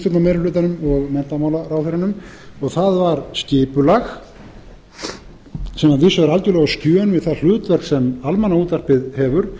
hlutafélagslögin veitt ríkisstjórnarmeirihlutanum og menntamálaráðherranum og það var skipulag sem að vísu er algjörlega á skjön við það hlutverk sem almannaútvarpið hefur